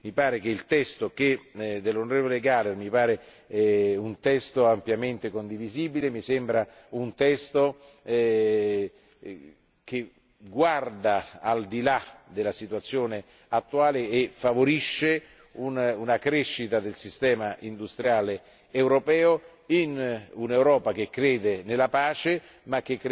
Quindi, mi pare che il testo dell'onorevole Gahler sia un testo ampiamente condivisibile, un testo che guarda al di là della situazione attuale e che favorisce una crescita del sistema industriale europeo in un'Europa che crede nella pace